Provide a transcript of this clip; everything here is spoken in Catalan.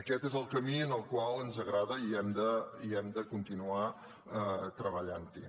aquest és el camí que ens agrada i hem de continuar treballant hi